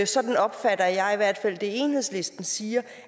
sådan opfatter jeg i hvert fald det enhedslisten siger